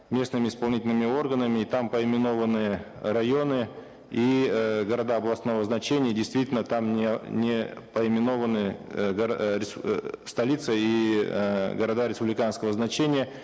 местными исполнительными органами и там поименованные районы и эээ города областного значения и действительно там не поименованы столица и э города республиканского значения